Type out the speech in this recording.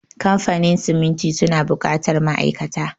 Kamfanin siminti suna buƙatar ma'aikata.